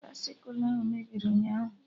Baisịkụ ahụ mebiri ụnyaahụ